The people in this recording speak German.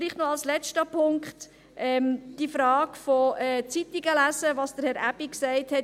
Vielleicht noch als letzten Punkt die Frage des Lesens von Zeitungen, was Herr Aebi gesagt hat: